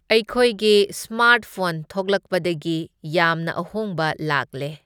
ꯑꯩꯈꯣꯏꯒꯤ ꯁ꯭ꯃꯥꯔꯠꯐꯣꯟ ꯊꯣꯛꯂꯛꯄꯗꯒꯤ ꯌꯥꯝꯅ ꯑꯍꯣꯡꯕ ꯂꯥꯛꯂꯦ꯫